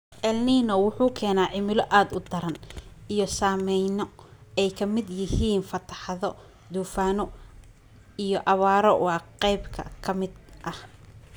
Elnino wuxuu keenaa cimilo aad u daran & saameyno ay ka mid yihiin fatahaado, duufaano & abaaro waa qaybo ka mid ah.